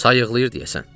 Sayıqlayır deyəsən.